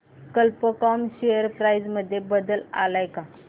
कल्प कॉम share price मध्ये बदल आलाय का